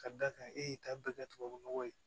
Ka d'a kan e y'i ta bɛɛ kɛ tubabu nɔgɔ ye